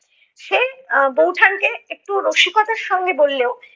সে এর বৌঠান কে একটু রসিকতার সঙ্গে বললেও